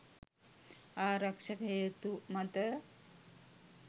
ආරක්‍ෂක හේතු මත